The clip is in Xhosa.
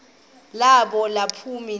balo naluphi na